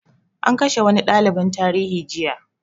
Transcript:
An kashe wani ɗaliban tarihi jiya